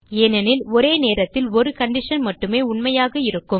ஏனெனில் ஒரு நேரத்தில் ஒரு கண்டிஷன் மட்டுமே உண்மையாக இருக்கும்